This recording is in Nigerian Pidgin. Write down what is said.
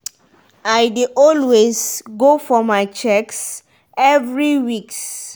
i dey always go for my checks every weeks